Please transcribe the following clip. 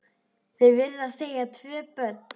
Þau virðast eiga tvö börn.